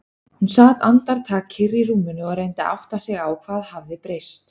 Hún sat andartak kyrr í rúminu og reyndi að átta sig á hvað hafði breyst.